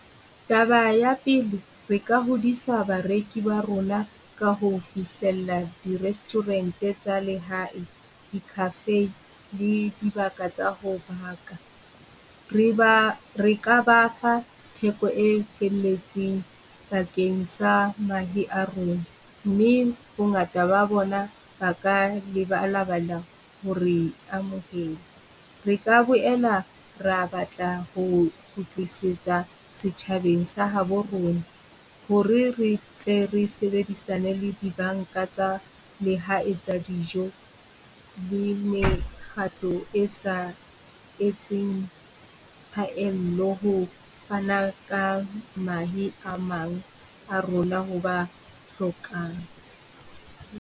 Taba ya pele, re ka hodisa bareki ba rona ka ho fihlella di restaurant-e tsa lehae, di cafe le dibaka tsa ho baka. Re ba re ka ba fa theko e felletseng bakeng sa mahe a rona, mme bongata ba bona ba ka ho re amohele. Re ka boela rea batla ho kgutlisetsa setjhabeng sa habo rona hore re tle re sebedisane le dibanka tsa Lehae tsa dijo le mekgatlo e sa etseng phaello ho fana ka mahe a mang a rona ho ba hlokang.